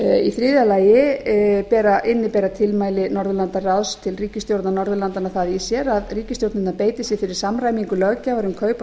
í þriðja lagi innibera tilmæli norðurlandaráðs til ríkisstjórna norðurlandanna það í sér að ríkisstjórnirnar beiti sér fyrir samræmingu löggjafar um kaup á